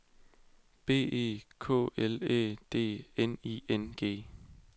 B E K L Æ D N I N G